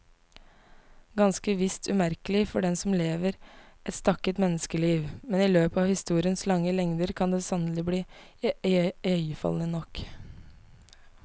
Ganske visst umerkelig for den som lever et stakket menneskeliv, men i løpet av historiens lange lengder kan det sannelig bli iøynefallende nok.